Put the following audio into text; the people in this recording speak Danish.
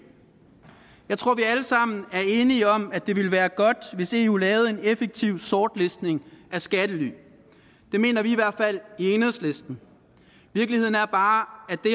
jeg tror vi alle sammen er enige om at det ville være godt hvis eu lavede en effektiv sortlistning af skattely det mener vi i hvert fald i enhedslisten virkeligheden er bare